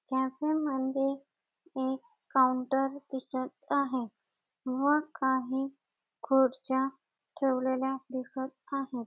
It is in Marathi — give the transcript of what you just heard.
कॅफे मध्ये एक काऊंटर दिसत आहे व काही खुर्च्या ठेवलेल्या दिसत आहेत.